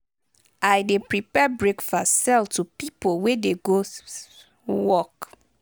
i dey prepare breakfast sell to pipo wey dey go work.